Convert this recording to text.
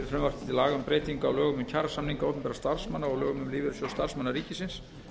breytingu á lögum um kjarasamninga opinberra starfsmanna og lögum um lífeyrissjóð starfsmanna ríkisins